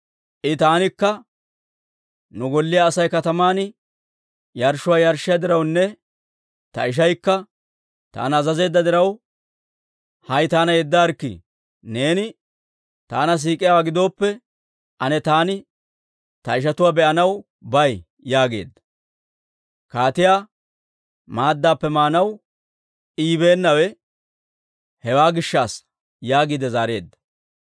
I taanikka, ‹Nu golliyaa Asay kataman yarshshuwaa yarshshiyaa dirawunne ta ishaykka taana azazeedda diraw, hay taana yeddaarikkii; neeni taana siik'iyaawaa gidooppe, ane taani ta ishatuwaa be'anaw bay› yaageedda. Kaatiyaa maaddappe maanaw I yibeennawe hewaa gishshassa» yaagiide zaareedda.